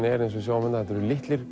er eins og við sjáum þetta eru litlir